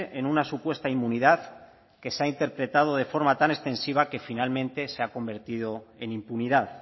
en una supuesta inmunidad que se ha interpretado de forma tan extensiva que finalmente se ha convertido en impunidad